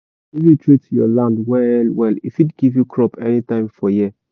if you treat your land well well e fit give you crop anytime for year.